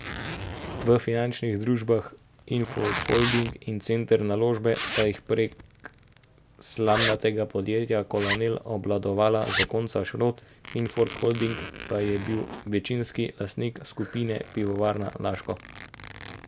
V finančnih družbah Infond Holding in Center Naložbe sta jih prek slamnatega podjetja Kolonel obvladovala zakonca Šrot, Infond Holding pa je bil večinski lastnik skupine Pivovarna Laško.